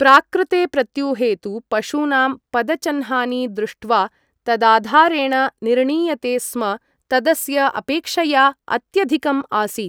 प्राक्कृते प्रत्यूहे तु पशूनां पदचह्नानि दृष्ट्वा तदाधारेण निर्णीयते स्म तदस्य अपेक्षया अत्यधिकम् आसीत्।